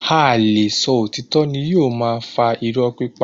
Áí le sọ òtítọ́ ni yóò máa fa iró pípa.